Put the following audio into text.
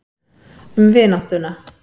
Um vináttuna.